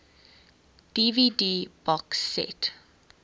dvd box set